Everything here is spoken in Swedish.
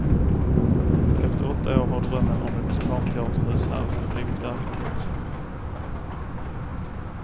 Efter åtta år har drömmen om ett barnteaterhus här blivit verklighet.